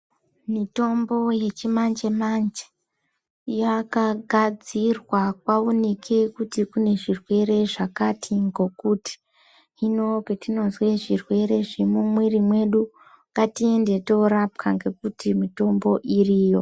Mitombo yechinanje manje yakagadzirwa kwaonekwe kuti kune zvirwere zvakati ngokuti hino patinozwe zvirwere zvemumwiri mwedu ngatiende torapwa ngekuti mitombo iriyo.